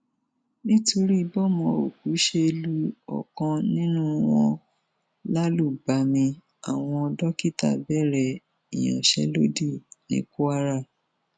nítorí bọmọ òkú ṣe lu ọkan nínú wọn lálùbami àwọn dókítà bẹrẹ ìyanṣẹlódì ní kwara